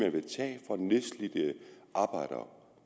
nedslidte arbejdere